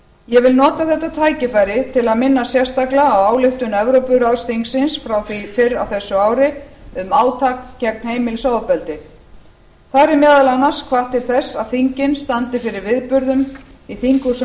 ég vil nota þetta tækifæri til að minna sérstaklega á ályktun evrópuráðsþingsins frá því fyrr á þessu ári um átak gegn heimilisofbeldi þar er meðal annars hvatt til þess að þingin standi fyrir viðburðum í þinghúsum